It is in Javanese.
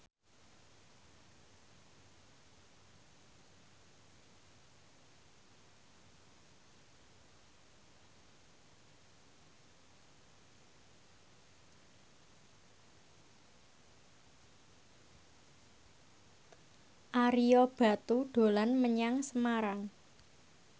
Ario Batu dolan menyang Semarang